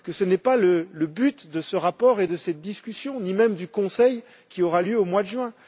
Ce n'est pas le but de ce rapport et de cette discussion, ni même du Conseil qui aura lieu au mois de juin.